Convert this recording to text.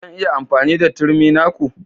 Zan iya yin amfani da turmi na ku?